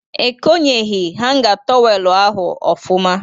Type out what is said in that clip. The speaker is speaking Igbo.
Ekonyeghị hanga tọwelu ahụ ọfụma